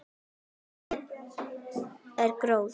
Ábati er gróði.